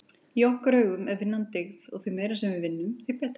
Í okkar augum er vinnan dyggð og því meira sem við vinnum, því betra.